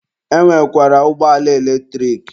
E nwekwara ụgbọala eletrik.